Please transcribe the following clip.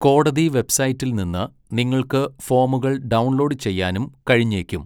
കോടതി വെബ്സൈറ്റിൽ നിന്ന് നിങ്ങൾക്ക് ഫോമുകൾ ഡൗൺലോഡ് ചെയ്യാനും കഴിഞ്ഞേക്കും.